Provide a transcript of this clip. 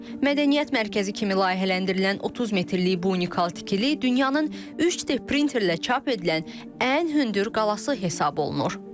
Mədəniyyət mərkəzi kimi layihələndirilən 30 metrlik bu unikal tikili dünyanın 3D printerlə çap edilən ən hündür qalası hesab olunur.